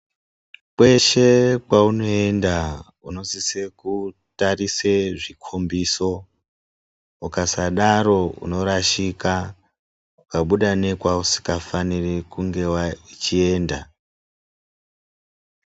Kweshe kwaunoenda unosise kutarise zvikhombiso. Ukasadaro unorashika ukabuda nekwausingafaniri kunge uchienda.